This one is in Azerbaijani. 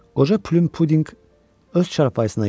Qoca Plyum Pudinq öz çarpayısına yönəldi.